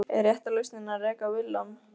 Er rétta lausnin að reka Willum?